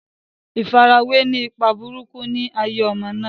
ìfarawé ni ipa burúkú ni ayé ọmọ náà.